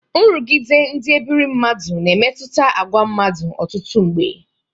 Nrụgide ndị ebire mmadụ na-emetụta agwa mmadụ ọtụtụ mgbe.